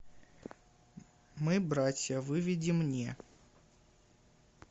мы братья выведи мне